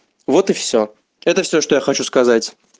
вот и все это все что я хочу сказать